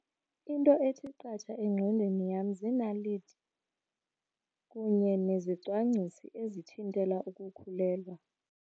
Into ethi qatha engqondweni yam ziinaliti kunye nezicwangcisi ezithintela ukukhulelwa.